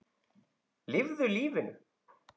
Lifðu lífinu.